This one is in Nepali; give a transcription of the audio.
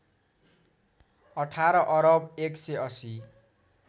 १८ अरब १८०